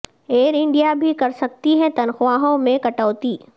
year India بھی کر سکتی ہے تنخواہوں میں کٹوتی